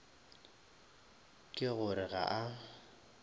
ke go re ga a